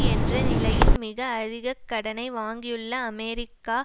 என்ற நிலையில் மிக அதிக கடனை வாங்கியுள்ள அமெரிக்கா